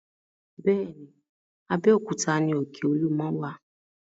Bẹ́ẹ̀ ni, Abéòkúta ni òkè Olúmọ wà.